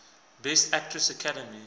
best actress academy